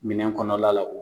Minɛn kɔnɔna la